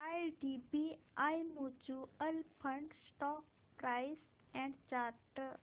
IDBI mutual fund stock price and chart